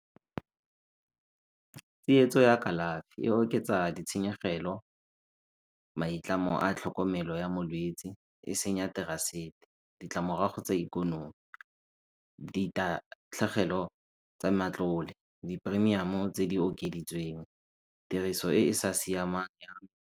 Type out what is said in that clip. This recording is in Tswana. Tsietso ya kalafi e oketsa ditshenyegelo, maitlamo a tlhokomelo ya molwetsi, e senya ditlamorago tsa ikonomi, ditatlhegelo tsa matlole, di-premium tse di okeditsweng, tiriso e e sa siamang ya .